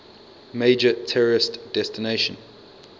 major tourist destination